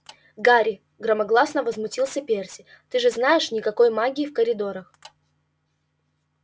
гарри громогласно возмутился перси ты же знаешь никакой магии в коридорах